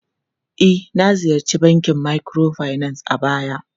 E, na ziyarci bankin microfinance a baya.